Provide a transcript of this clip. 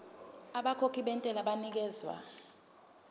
abakhokhi bentela banikezwa